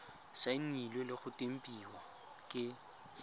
saenilwe le go tempiwa ke